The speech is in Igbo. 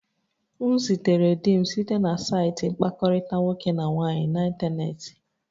M zutere di m site na saịtị mkpakọrịta nwoke na nwaanyị n'ịntanetị